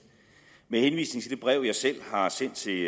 med henvisning til det brev jeg selv har sendt til